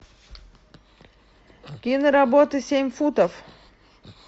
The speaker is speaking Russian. киноработа семь футов